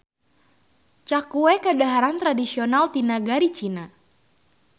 Cakue kadaharan tradisional ti nagari Cina.